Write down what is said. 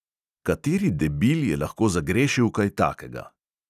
"Kateri debil je lahko zagrešil kaj takega?"